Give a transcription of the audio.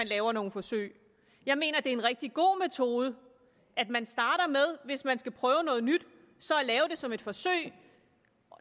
lave nogle forsøg jeg mener at det er en rigtig god metode at man starter med hvis man skal prøve noget nyt så at lave det som et forsøg